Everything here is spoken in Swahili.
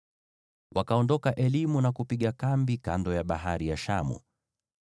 Wakaondoka Elimu na kupiga kambi kando ya Bahari ya Shamu.